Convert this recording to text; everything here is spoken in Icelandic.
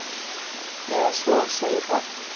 Eða svo segir það.